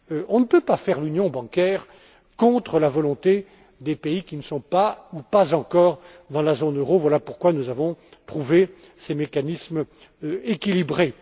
On ne peut pas faire l'union bancaire contre la volonté des pays qui ne sont pas ou pas encore dans la zone euro. Voilà pourquoi nous avons trouvé ces mécanismes équilibrés.